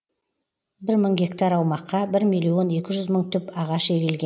бір мың гектар аумаққа бір миллион екі жүз мың түп ағаш егілген